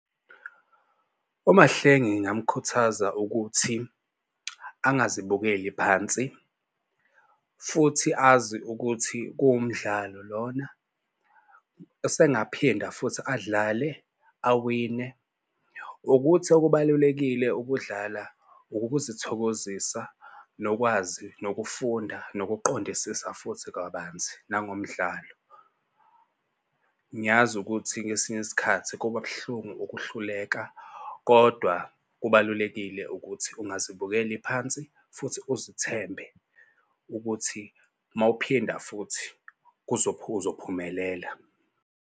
UMahlengi ngingamukhuthaza ukuthi angazibukeli phansi futhi azi ukuthi kuwumdlalo lona usengaphinda futhi adlale awine. Ukuthi okubalulekile ukudlala ukuzithokozisa, nokwazi, nokufunda, nokuqondisisa futhi kabanzi nangomdlalo. Ngiyazi ukuthi ngesinye isikhathi kuba buhlungu ukuhluleka kodwa kubalulekile ukuthi ungazibukeli phansi futhi uzithembe ukuthi uma uphinda futhi uzophumelela.